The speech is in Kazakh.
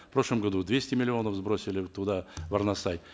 в прошлом году двести миллионов сбросили туда в арнасай